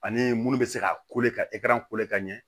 Ani munnu bɛ se ka ka ka ɲɛ